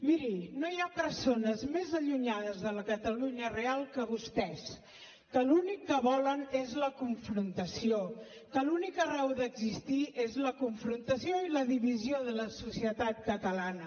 miri no hi ha persones més allunyades de la catalunya real que vostès que l’únic que volen és la confrontació que l’única raó d’existir és la confrontació i la divisió de la societat catalana